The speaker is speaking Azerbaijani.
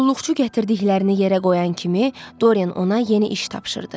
Qulluqçu gətirdiklərini yerə qoyan kimi Doryen ona yeni iş tapşırırdı.